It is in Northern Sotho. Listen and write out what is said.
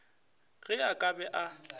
ge a ka be a